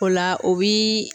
O la o bi